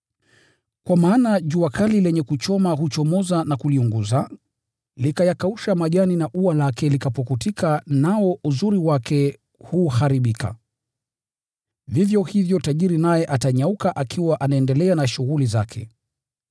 Kwa maana jua kali lenye kuchoma huchomoza na kuliunguza, likayakausha majani, na ua lake likapukutika, nao uzuri wake huharibika. Vivyo hivyo tajiri naye atanyauka akiwa anaendelea na shughuli zake.